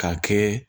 K'a kɛ